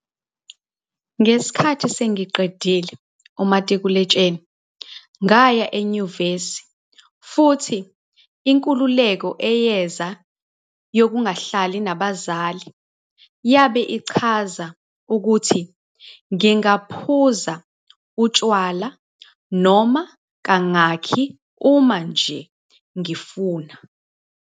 "Ngesikhathi sengiqedile umatikuletsheni, ngaya enyuvesi futhi inkululeko eyeza yokungahlali nabazali yabe ichaza ukuthi ngingaphuza utshwala noma kangaki uma nje ngifuna."